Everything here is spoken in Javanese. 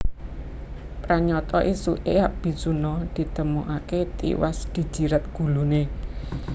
Pranyata ésuké Abisuna ditemokaké tiwas dijiret guluné